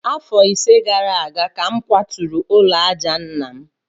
Afọ ise gara aga ka m kwaturu ụlọ àjà nna m